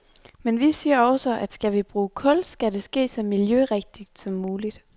Men vi siger også, at skal vi bruge kul, skal det ske så miljørigtigt som muligt.